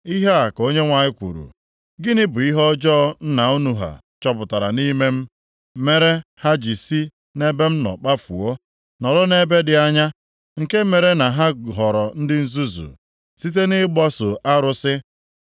Ihe a ka Onyenwe anyị kwuru, “Gịnị bụ ihe ọjọọ nna unu ha chọpụtara nʼime m, mere ha ji si nʼebe m nọ kpafuo, nọrọ m ebe dị anya? Nke mere na ha ghọrọ ndị nzuzu site nʼịgbaso arụsị?